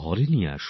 ঘরে নিয়ে আসুন